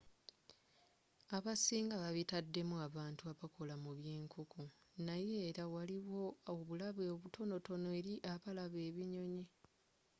abasinga babitaddemu abantu abakola mu byenkonko naye era waliwo obulabe obutonotono eri abalaba ebinyonyi